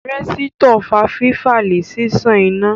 Rẹ̀sítọ̀ fa fífa lẹ̀ ṣíṣan iná